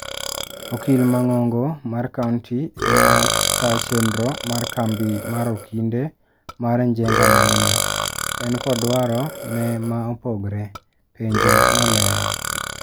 "Okil mang'ong'o mar kaunti ema taa chenro mar kambi mar okinde mar Njenga Maina. En kod dwaro ne ma opogre." Penjo nolero.